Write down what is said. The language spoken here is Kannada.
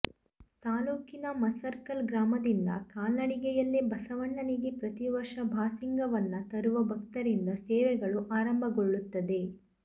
ತಾಲೂಕಿನ ಮಸರಕಲ್ ಗ್ರಾಮದಿಂದ ಕಾಲ್ನಡಿಗೆಯಲ್ಲೇ ಬಸವಣ್ಣನಿಗೆ ಪ್ರತೀವರ್ಷ ಬಾಸಿಂಗವನ್ನ ತರುವ ಭಕ್ತರಿಂದ ಸೇವೆಗಳು ಆರಂಭಗೊಳ್ಳುತ್ತದೆ